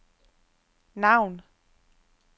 navn